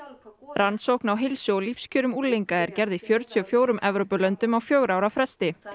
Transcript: rannsókn á heilsu og lífskjör unglinga er gerð í fjörutíu og fjórum Evrópulöndum á fjögurra ára fresti